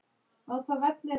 Þær eru báðar látnar.